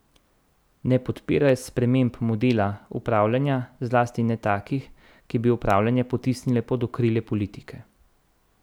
Ne podpirajo sprememb modela upravljanja, zlasti ne takih, ki bi upravljanje potisnile pod okrilje politike.